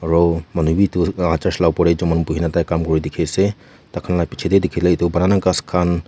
aru manu bhi dur para church para opor te jaman kori kina tai kam kori dekhi ase tar khan laga piche te dekhi le etu purana gass khan--